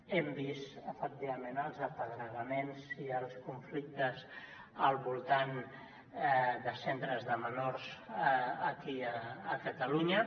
hem vist efectivament els apedregaments i els conflictes al voltant de centres de menors aquí a catalunya